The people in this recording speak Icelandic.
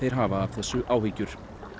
hafa af þessu áhyggjur